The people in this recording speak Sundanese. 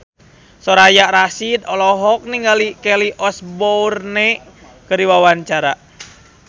Soraya Rasyid olohok ningali Kelly Osbourne keur diwawancara